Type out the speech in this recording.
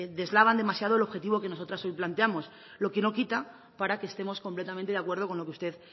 deslavan demasiado el objetivo que nosotras hoy planteamos lo que no quita para que estemos completamente de acuerdo con lo que usted